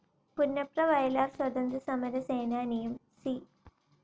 Punnapra-Vayalar സ്വതന്ത്ര്യസമര സേനാനിയും C.